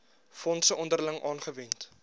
fondse onderling aangewend